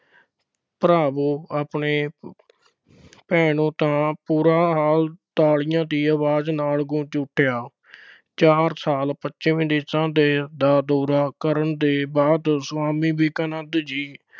ਭਰਾਵੋ ਆਪਣੇ ਭੈਣੋਂ ਤਾਂ ਪੂਰਾ hall ਤਾਲੀਆਂ ਦੀ ਆਵਾਜ਼ ਨਾਲ ਗੂੰਜ ਉੱਠਿਆ। ਚਾਰ ਸਾਲ ਪੱਛਮੀ ਦੇਸ਼ਾਂ ਦਾ ਦੌਰਾ ਕਰਨ ਦੇ ਬਾਅਦ ਸੁਆਮੀ ਵਿਵੇਕਾਨੰਦ ਜੀ